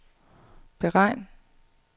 beregn